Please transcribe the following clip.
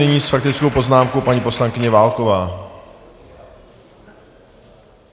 Nyní s faktickou poznámkou paní poslankyně Válková.